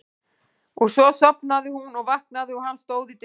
Og svo sofnaði hún og vaknaði og hann stóð í dyrunum.